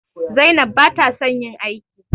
Zainab bata son yin aiki.